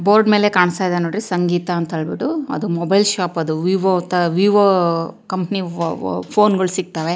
Board ಮೇಲೆ ಕಾಣಿಸ್ತಾ ಇದೆ ನೋಡಿ ಸಂಗೀತ ಅಂತ ಹೇಳ್ಬಿಟ್ಟು ಅದು ಮೊಬೈಲ್ ಶಾಪ್ ಅದು ವಿವೊ ಅಂತ ವಿವೊ ಕಂಪನಿ ಫೋ ಫೋ ಫೋನ್ ಗಳು ಸಿಗ್ತವೆ .